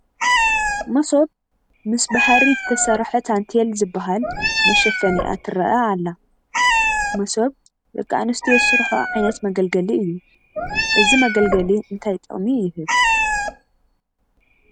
መሶብ ምስ ብሓሪ ዝተሰርሐ ታንቴል ዝበሃል መሸፈኒኣ ትርአ ኣላ፡፡ መሶብ ደቂ ኣንስትዮ ዝሰርሕኦ ዓይነት መገልገሊ እዩ፡፡ እዚ መገልገሊ እንታይ ጥቕሚ ይህብ?